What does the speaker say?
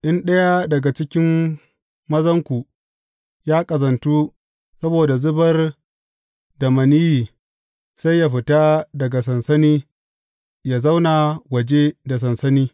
In ɗaya daga cikin mazanku ya ƙazantu saboda zubar da maniyyi, sai yă fita daga sansani yă zauna waje da sansani.